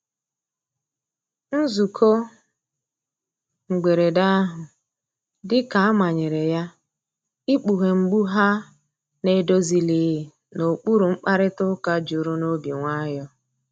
Nzụko mgberede ahụ dika a manyere ya, ịkpughe mgbụ ha na‐edozilighi n'okpuru mkparịta uka juru n'obi nwayo.